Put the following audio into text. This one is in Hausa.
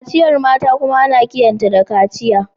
Kaciyar mata kuma ana kiranta kaciyar mata.